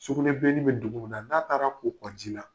Sukunɛbilennin bɛ dugu min na n'a taara ko ko ji la